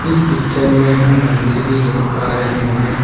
इस पिक्चर में हम मंदिर भी देख पा रहे हैं।